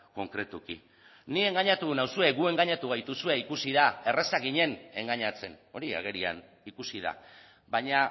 konkretuki ni engainatu nauzue gu engainatu gaituzue ikusi da erraza ginen engainatzen hori agerian ikusi da baina